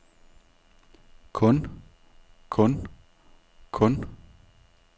kun kun kun